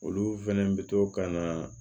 Olu fɛnɛ bɛ to ka na